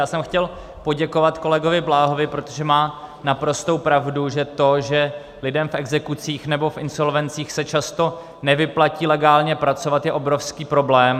Já jsem chtěl poděkovat kolegovi Bláhovi, protože má naprostou pravdu, že to, že lidem v exekucích nebo v insolvencích se často nevyplatí legálně pracovat, je obrovský problém.